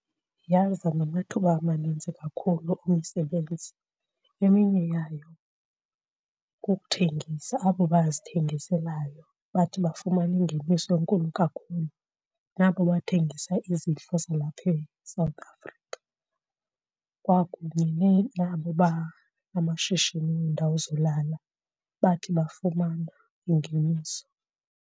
Yaza namathuba amaninzi kakhulu emisebenzi. Eminye yayo kukuthengisa, abo bazithengiselayo bathi bafumana ingeniso enkulu kakhulu nabo bathengisa izidlo zalapha eSouth Africa kwakunye nabo banamashishini weendawo zolala bathi bafumana ingeniso.